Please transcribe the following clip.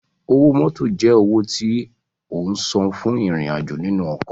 Owó mótò jẹ́ owó tí o san fún ìrìn-àjò nínú ọkọ̀